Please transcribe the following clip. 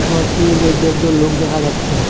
ঘরটির মইধ্যে একজন লোক দেখা যাচ্ছে।